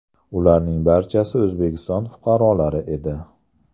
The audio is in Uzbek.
Ularning barchasi O‘zbekiston fuqarolari edi.